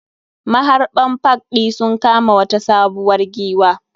Maharɓan park ɗi sun kama wata sabuwar giwwa.